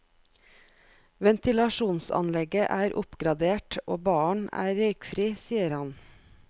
Ventilasjonsanlegget er oppgradert og baren er røykfri, sier han.